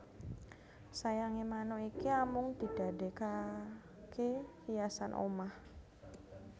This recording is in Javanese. Sayange manuk iki amung didadekake hiasan omah